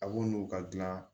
A b'o n'u ka gilan